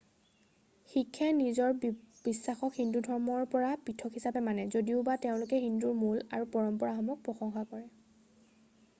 শিখে নিজৰ বিশ্বাসক হিন্দু ধৰ্মৰ পৰা পৃথক হিচাপে মানে যদিওবা তেওঁলোকে হিন্দুৰ মূল আৰু পৰম্পৰাসমূহক প্ৰশংসা কৰে৷